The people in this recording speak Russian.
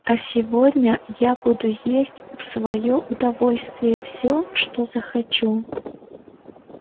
а сегодня я буду есть в своё удовольствие всё что захочу